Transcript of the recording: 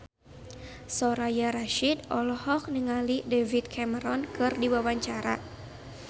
Soraya Rasyid olohok ningali David Cameron keur diwawancara